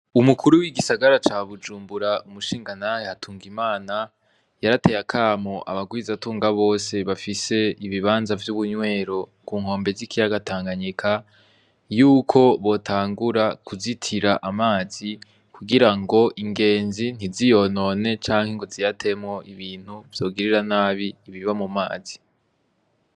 Umukuru w'igisagara ca bujumbura umushinga ntahe hatungimana, yarateye akamo abagwiza tunga bose bafise ibibanza vy'ubunywero kunkombe z'ikiyaga tanganyika yuko botangura kuzitira amazi kugira ngo ingenzi ntiziyonone canke ngo ziyatemwo ibintu vyogirira nabi ibiba mu mazi.